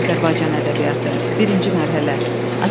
Azərbaycanda milli Demokratik Hərəkat dövründə ədəbiyyat.